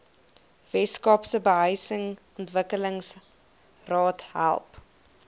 weskaapse behuisingsontwikkelingsraad help